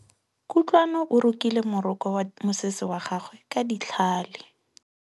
Kutlwanô o rokile morokô wa mosese wa gagwe ka tlhale.